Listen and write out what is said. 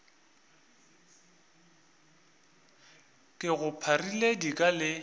ke go pharile dika le